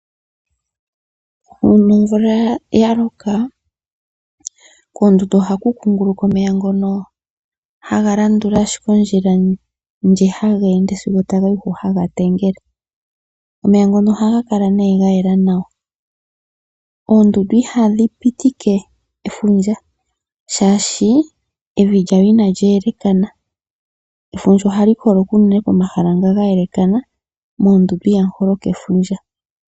Uuna omvula ya loka, koondundu ohaku kunguluka omeya ngono haga landula ashike ondjila ndji haga ende sigo taga yi hu haga tengele. Omeya ngono ohaga kala nee ga yela nawa. Oondundu ihadhi pitike efundja, shaashi evi lyawo inali elekana. Efundja ohali holoka unene pomahala nga ga elekana moondundu ihamu holoka efundja.